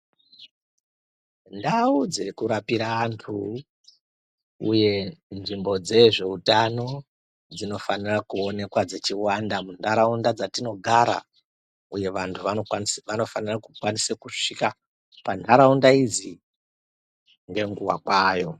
Ndau dzekurapira antu uye nzvimbo dzezveutano dzinofanira kuonekwa dzichiwanda muntaraunda dzatinogara. Uye vantu anokwanise, vanofanira kukwanise kusvika pantaraunda idzi ngenguwa kwayo